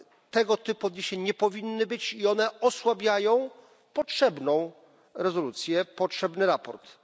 Tego typu odniesień nie powinno być i one osłabiają potrzebną rezolucję, potrzebne sprawozdanie.